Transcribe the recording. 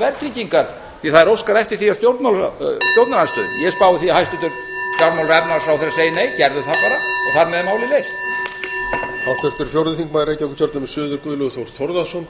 verðtryggingar því það er óskað eftir því af stjórnarandstöðunni ég spái því að hæstvirtur fjármála og efnahagsráðherra segi nei gerðu það bara og þar með